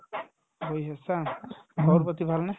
বহি আছা খবৰ-পাতি ভালনে ?